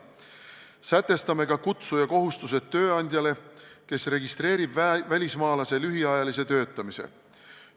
Kehtestame tööandjale, kes registreerib välismaalase lühiajalise töötamise, kutsuja kohustused.